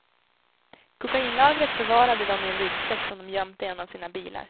Kokainlagret förvarade de i en ryggsäck som de gömt i en av sina bilar.